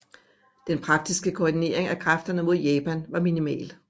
Den praktiske koordinering af kræfterne mod Japan var minimal